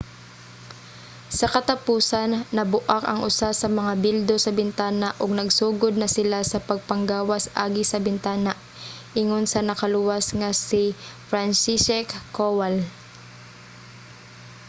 sa katapusan nabu-ak ang usa sa mga bildo sa bintana ug nagsugod na sila sa pagpanggawas agi sa bintana, ingon sa nakaluwas nga si franciszek kowal